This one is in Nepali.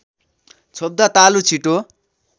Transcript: छोप्दा तालु छिटो